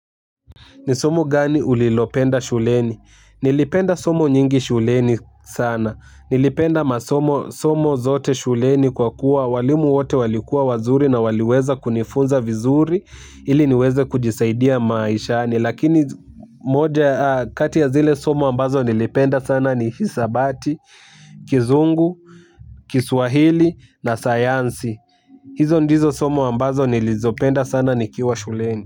Ni somo gani ulilopenda shuleni? Nilipenda somo nyingi shuleni sana. Nilipenda masomo somo zote shuleni kwa kuwa walimu wote walikuwa wazuri na waliweza kunifunza vizuri. Ili niweze kujisaidia maishani. Lakini moja kati ya zile somo ambazo nilipenda sana ni hisabati, kizungu, kiswahili na sayansi. Hizo ndizo somo ambazo nilizopenda sana nikiwa shuleni.